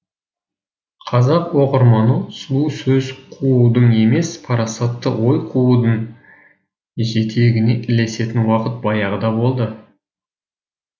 қазақ оқырманы сұлу сөз қуудың емес парасатты ой қуудың жетегіне ілесетін уақыт баяғыда болды